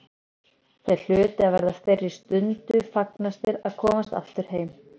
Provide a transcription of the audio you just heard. Þeir hlutu að verða þeirri stundu fegnastir að komast aftur heim.